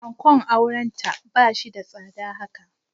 Ankon aurenta ba shi da tsada haka.